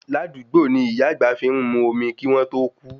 Ládugbó ni ìyá àgbà fi ń mu omi kí wọ́n tó kú